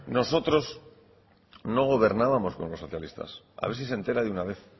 nosotros no gobernábamos con los socialistas a ver si se entera de una vez